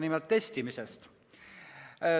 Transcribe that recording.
Nimelt testimisest.